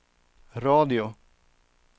radio